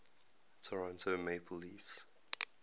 toronto maple leafs